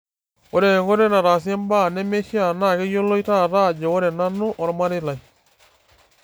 'Ore enkoitoi nataasie mbaa nemeishia naa keyiolo taata ajo ore nanu omarei lai